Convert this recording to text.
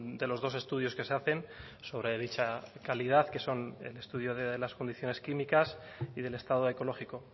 de los dos estudios que se hacen sobre dicha calidad que son el estudio de las condiciones químicas y del estado ecológico